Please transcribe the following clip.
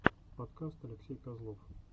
подкаст алексей козлов